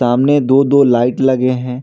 सामने दो दो लाइट लगे हैं।